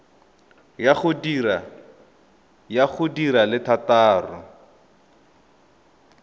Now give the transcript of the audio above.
ya go di le thataro